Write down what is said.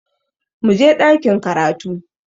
Muje ɗakin karatu!